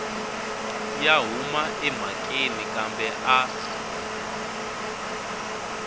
ya huma emhakeni kambe a